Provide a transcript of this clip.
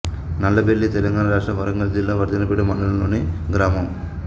నల్లబెల్లి తెలంగాణ రాష్ట్రం వరంగల్ జిల్లా వర్ధన్నపేట మండలం లోని గ్రామం